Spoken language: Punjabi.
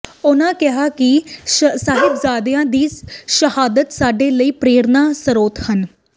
ਉਨ੍ਹਾਂ ਕਿਹਾ ਕਿ ਸਾਹਿਬਜ਼ਾਦਿਆਂ ਦੀ ਸ਼ਹਾਦਤ ਸਾਡੇ ਲਈ ਪ੍ਰੇਰਨਾ ਸਰੋਤ ਹਨ